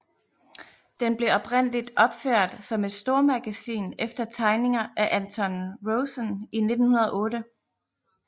Den blev oprindeligt opført som et stormagasin efter tegninger af Anton Rosen i 1908